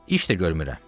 İş də görmürəm.